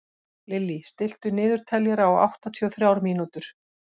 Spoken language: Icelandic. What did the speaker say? Lily, stilltu niðurteljara á áttatíu og þrjár mínútur.